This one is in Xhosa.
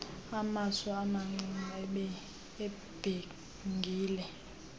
amaso amacici ibhengile